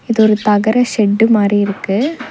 இதொரு தகர ஷெட்டு மாரி இருக்கு.